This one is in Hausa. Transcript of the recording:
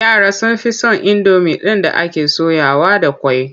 Yara sun fi son indomi ɗin da ake soyawa da ƙwai.